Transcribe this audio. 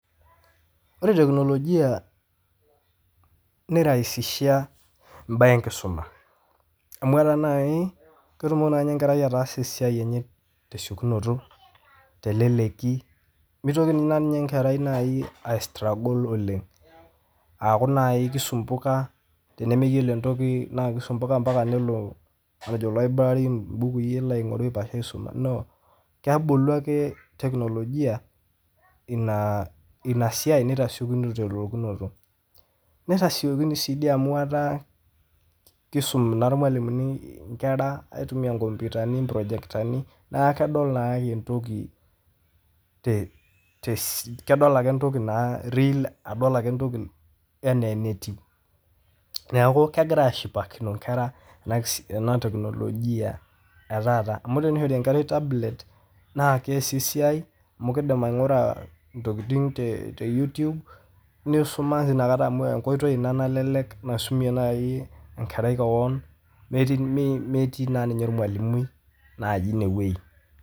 Ore teknolojia neraisisha imbaye enkisuma amuu ore naii ketumoki nai enkerai ataasa esiai enye te siekunoto, te leleki meitoki ninye naii inkerai aistruggle oleng aaku naii keisumbuka tenemeyiolo entoki naaku keisumbuka mpaka nelo eloiburari embukui elo aing'oru aisumo noo, kebulu ake teknolojia ina siai neitasieku te lelekunoto, naitasiekuni sii duo amuu etaa keisum naa irmwalumuni inkera aitumiya inkomputani projektani naa kedol naa entoki kedol ake ntoki naa real adol ake ntoki enaa netiu, naaaku kegira aashipakino inkera ena teknolojia etaata amu teneeta enkerai etablet naa keasie esiai amuu keidim ainguraa ntokitin te youtube neisumaki naa inakata amu enkoitoi naa nalelek naisumie nai inkerai keon netii naa ninye irmwalumui naaji ineweji.